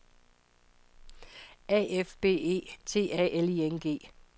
A F B E T A L I N G